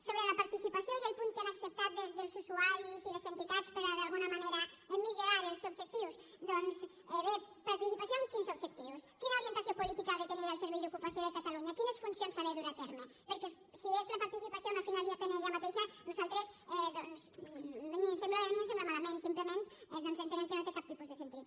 sobre la participació i el punt que han acceptat dels usuaris i les entitats per d’alguna manera millorar els objectius doncs bé participació amb quins objectius quina orientació política ha de tenir el servei d’ocupació de catalunya quines funcions ha de dur a terme perquè si és la participació la finalitat en ella mateixa nosaltres ni ens sembla bé ni ens sembla malament simplement doncs entenem que no té cap tipus de sentit